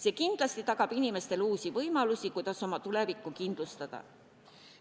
See kindlasti tagab inimestele uusi võimalusi, kuidas oma tulevikku kindlustada.